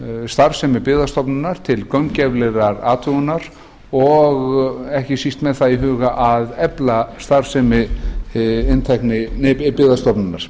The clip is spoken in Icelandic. starfsemi byggðastofnunar til gaumgæfilegrar athugunar og ekki síst með það í huga að efla starfsemi byggðastofnunar